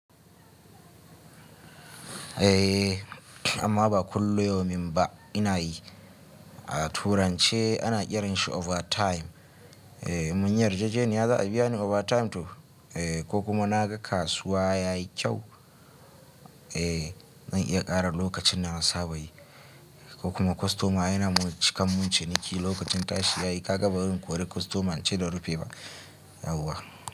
Eh amma ba kullu yaumin ba ina yi. A turance ana kiranshi overtime. Munyi yarjejeniya za a biya ni overtime to ko kuma na ga kasuwa yayi kyau, zan iya ƙara lokacin da nasaba yi ko kuma kostoma yana mun cikan mun ciniki lokacin tashi yayi. Ka ga barin kore kostoma, ince dan rufe ba yauwa.